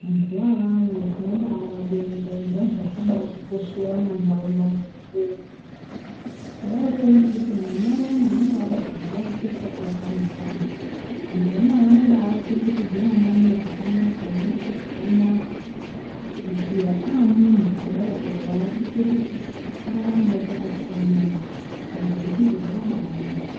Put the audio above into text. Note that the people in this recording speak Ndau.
Vantu ivavavo tinobavabonga ende vantu vakabatikoshera mumantaraunda mwedumo. Kudaiko ngekuti mwana uyana anonga abarwa nguva yake isati yakana uyana. Vantu vanaa vanoba chengetedze mwana unouyu pakanaka veimubate zvakanaka kusvikira amuntu kudai oo vakuite kuti araramevo pakati paamweni antu. Saka zvirozvizvi zvakabanaka.